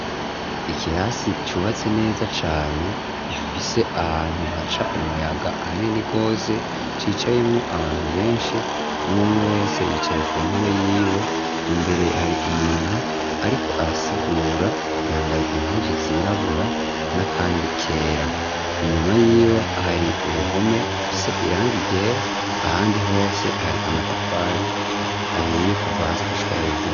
ikirasi cubatse neza cane gifise ahantu haca umuyaga hanini gose cicayemwo abantu benshi umwumwe wese yicaye ku ntebe y'iwe imbere hari umuntu ariko arasigura yambaye impuzu zirabura na kandi kera inyuma y'iwe hari uruhome rufise irangi ryera ahandi hose hari amatafari ahiye kuva hasi gushika hejuru